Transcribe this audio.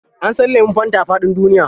An san lemun fanta a faɗin duniya.